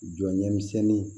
Jɔɲɛmisɛnnin